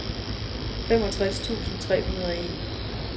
femogtres tusind tre hundrede og en